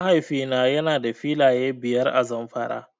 Mahaifi na yana da filaye biyar a Zamfara.